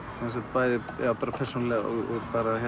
bæði persónulega og